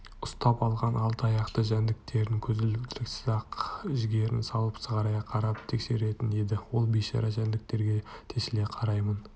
ұстап алған алты аяқты жәндіктерін көзілдіріксіз-ақ бар жігерін салып сығырая қарап тексеретін еді ол бейшара жәндіктерге тесіле қараймын